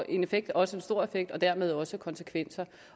effekt også en stor effekt og dermed også konsekvenser